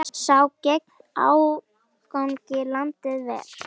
Sá gegn ágangi landið ver.